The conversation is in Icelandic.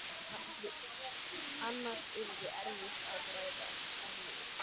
Annars yrði erfitt að græða húðina.